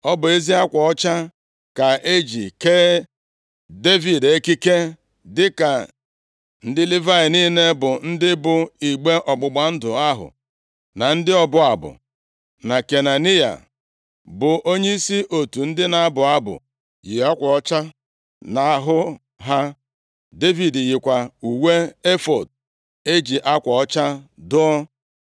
Ọ bụ ezi akwa ọcha ka e ji kee Devid ekike, dịka ndị Livayị niile bụ ndị bu igbe ọgbụgba ndụ ahụ, na ndị ọbụ abụ, na Kenaniya, bụ onyeisi otu ndị na-abụ abụ yi akwa ọcha nʼahụ ha. Devid yikwa uwe efọọd e ji akwa ọcha dụọ.